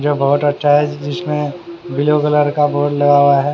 ये बहोत अच्छा है जिसमें ब्ल्यू कलर का बोर्ड लगा हुआ हैं।